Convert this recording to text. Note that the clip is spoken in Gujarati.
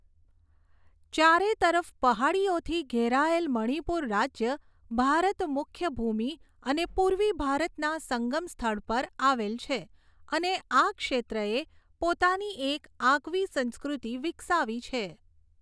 ચારે તરફ પહાડીઓથી ઘેરાયેલ મણિપુર રાજ્ય ભારત મુખ્ય ભૂમિ અને પૂર્વી ભારતના સંગમ સ્થળ પર આવેલ છે અને આ ક્ષેત્રએ પોતાની એક આગવી સંસ્કૃતિ વિકસાવી છે.